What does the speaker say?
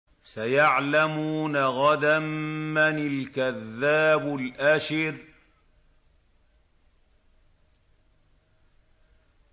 سَيَعْلَمُونَ غَدًا مَّنِ الْكَذَّابُ الْأَشِرُ